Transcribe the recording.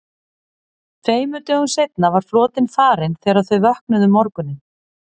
Tveimur dögum seinna var flotinn farinn þegar þau vöknuðu um morguninn.